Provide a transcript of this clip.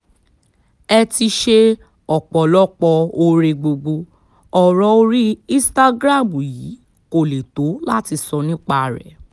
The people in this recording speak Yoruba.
ẹ ti ṣe ọ̀pọ̀lọpọ̀ oore gbogbo ọ̀rọ̀ orí instagram yìí kó lè tó láti sọ nípa rẹ̀